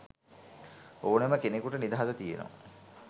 ඕනෙම කෙනෙකුට නිදහස තියනව.